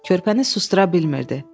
Körpəni susdura bilmirdi.